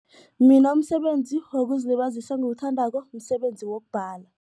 Mina umsebenzi wokuzilibazisa engiwuthandako msebenzi wokubhala.